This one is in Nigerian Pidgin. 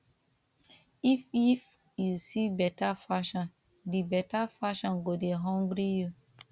if if you see better fashion di better fashion go de hungry